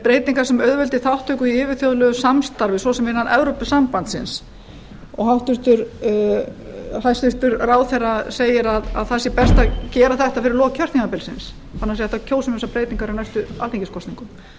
breytingar sem auðveldi þátttöku í yfirþjóðlegu samstarfi svo sem innan evrópusambandsins og hæstvirtur ráðherra segir að það sé best að gera þetta fyrir lok kjörtímabilsins þannig að það sé hægt að kjósa um þessar breytingar í næstu alþingiskosningum